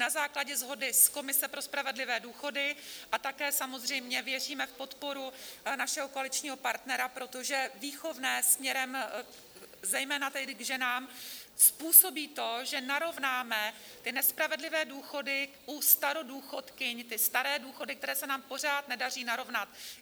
Na základě shody s komisí pro spravedlivé důchody - a také samozřejmě věříme v podporu našeho koaličního partnera, protože výchovné směrem zejména k ženám způsobí to, že narovnáme ty nespravedlivé důchody u starodůchodkyň, ty staré důchody, které se nám pořád nedaří narovnat.